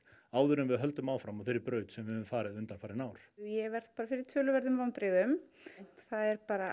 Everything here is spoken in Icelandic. áður en við höldum áfram á þeirri braut sem við höfum farið undanfarin ár ég verð bara fyrir töluverðum vonbrigðum það er bara